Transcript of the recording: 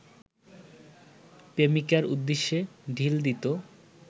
প্রেমিকার উদ্দেশে ঢিল দিত